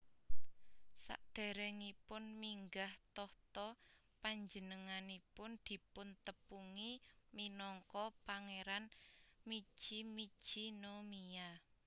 Sadèrèngipun minggah tahta panjenenganipun dipuntepungi minangka Pangéran Michi Michi no Miya